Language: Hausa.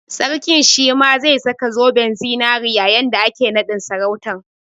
Sarkin shi ma zai saka zoben zinari yayin da ake naɗin sarautan